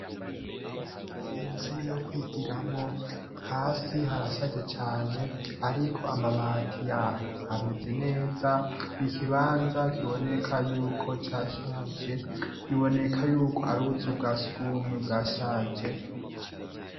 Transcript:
Inzu yo kwigiramwo hasi harashaje cane ariko amabati yaho ameze neza, n'ikibanza kiboneka yuko cashaje, biboneka yuko ari ubuzu bwa sugumwe bwashaje.